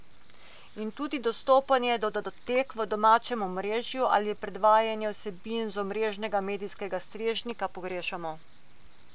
In tudi dostopanje do datotek v domačem omrežju ali predvajanje vsebin z omrežnega medijskega strežnika pogrešamo.